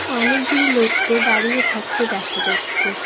অনেকগুলি লোককে দাঁড়িয়ে থাকতে দেখা যাচ্ছে।